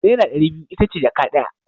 Naira dari biyu itace jaka daya